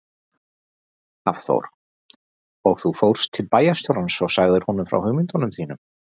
Hafþór: Og þú fórst til bæjarstjórans og sagðir honum frá hugmyndunum þínum?